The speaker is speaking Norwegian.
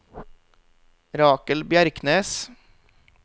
Rakel Bjerknes